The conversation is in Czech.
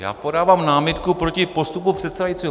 Já podávám námitku proti postupu předsedajícího.